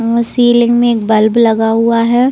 अ ceiling में एक bulb लगा हुआ है।